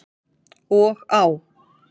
Og á.